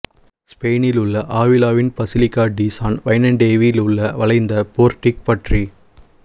ஸ்பெயினிலுள்ள ஆவிலாவின் basilica de San வைனெண்டேவில் உள்ள வளைந்த போர்ட்டிக் பற்றி